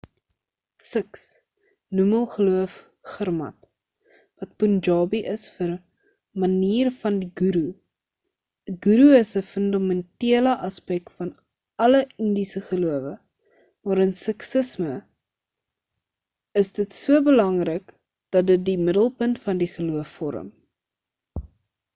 sikhs noem hul geloof gurmat wat punjabi is vir manier van die ghoeroe 'n ghoeroe is 'n fundamentele aspek van alle indiese gelowe maar in sikhisme is dit so belangrik dat dit die middelpunt van die geloof vorm